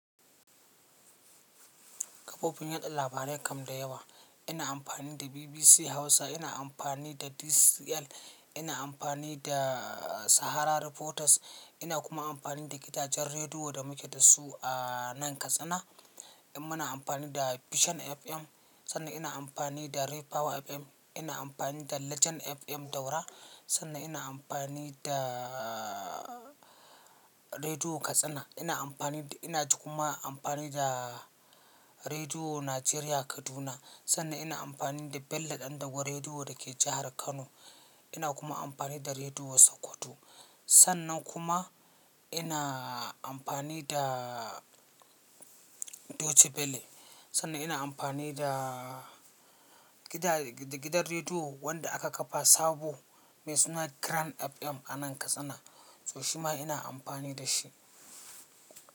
Kafofin yaɗa labarai kam da yawa. Ina amfani da BBC Hausa, ina amfani da DCL, ina amfani da Sahara Reporters, ina kuma amfani da gidajen rediyo da muke da su a nan Katsina. Muna amfani da Vision FM, sannan ina amfani da Ray Power FM, ina amfani da Legend FM Daura, sannan ina amfani da Rediyo Katsina. Ina amfani da, ina kuma amfani da Rediyo Najeriya Kaduna, sannan ina amfani da Bello Dandago Rediyo da ke jahar Kano. Ina kuma amfani da Rediyo Sokoto. Sannan kuma ina amfani da Deutsche Welle, sannan ina amfani da gidan rediyo wanda aka kafa sabo mai suna Grand FM a nan Katsina, so shima ina amfani da shi.